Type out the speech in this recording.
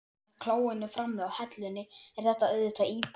Með klóinu frammi og hellunni er þetta auðvitað íbúð.